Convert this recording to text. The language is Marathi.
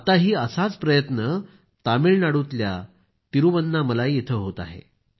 आत्ताही असाच प्रयत्न तामिळनाडूतल्या तिरूवन्नामलाई इथं होत आहे